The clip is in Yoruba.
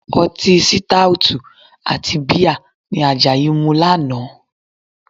Ọtí sítáótù àti bíà ni Àjàyí mu lánàá